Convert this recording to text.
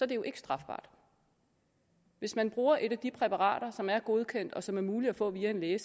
det jo ikke strafbart hvis man bruger et af de præparater som er godkendt og som er muligt at få via en læge